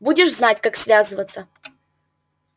будешь знать как связываться